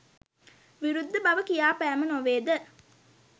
විරුද්ධ බව කියා පෑම නොවේද?